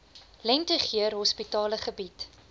lentegeur hospitale bied